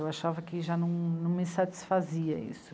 Eu achava que já não... não me satisfazia isso.